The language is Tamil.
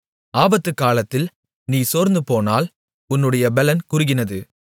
ஆபத்துக்காலத்தில் நீ சோர்ந்துபோனால் உன்னுடைய பெலன் குறுகினது